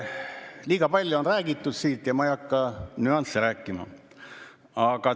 Liiga palju on räägitud siin ja ma ei hakka nüansse rääkima.